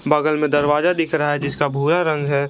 बगल में दरवाजा दिख रहा है जिसका भूरा रंग है।